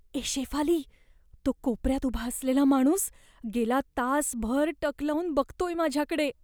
ए शेफाली, तो कोपऱ्यात उभा असलेला माणूस गेला तासभर टक लाऊन बघतोय माझ्याकडे.